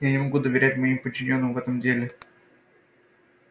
я не могу доверять моим подчинённым в этом деле